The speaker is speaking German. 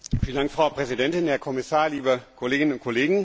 Frau Präsidentin, Herr Kommissar, liebe Kolleginnen und Kollegen!